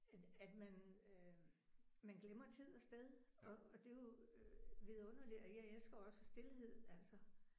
At at man øh man glemmer tid og sted og og det er jo vidunderligt og jeg elsker også stilhed altså